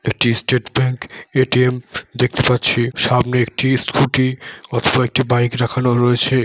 এটি state bank ATM. দেখতে পাচ্ছি সামনে একটি স্কুটি অথবা একটি বাইক রাখানো রয়েছে।